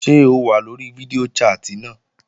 Ṣé o wà lórí fídíò chat náà?